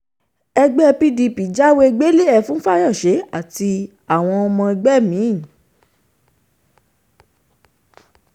ẹgbẹ́ pdp jáwé gbélé-e fún fayose àtàwọn ọmọ ẹgbẹ́ mi